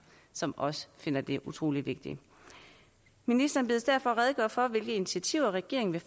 som også finder det utrolig vigtigt ministeren bedes derfor redegøre for hvilke initiativer regeringen